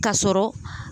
Ka sɔrɔ